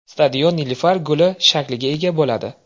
Stadion nilufar guli shakliga ega bo‘ladi.